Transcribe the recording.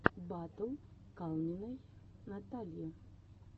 батл калниной натальи